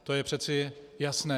To je přece jasné.